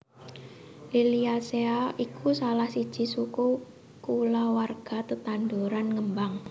Liliaceae iku salah siji suku kulawarga tetanduran ngembang